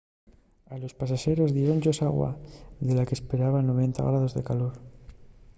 a los pasaxeros diéron-yos agua de la qu’esperaben a 90ºf de calor